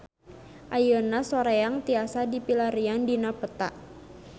Ayeuna Soreang tiasa dipilarian dina peta